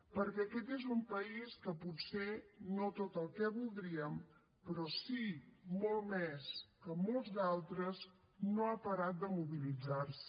perquè aquest és un país que potser no tot el que voldríem però sí molt més que molts d’altres no ha parat de mobilitzar se